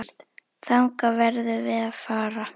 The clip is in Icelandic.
Þangað verðum við að fara.